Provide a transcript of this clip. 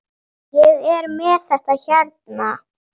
Ég er með þetta hérna.